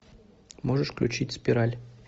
можешь включить спираль